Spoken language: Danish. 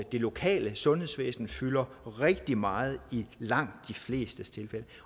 det lokale sundhedsvæsen fylder rigtig meget i langt de flestes tilfælde